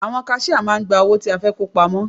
Àwọn kaṣíá máà ń gba owó tí a fẹ́ kó pamọ́.